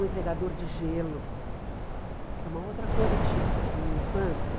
O entregador de gelo, que é uma outra coisa típica da minha infância.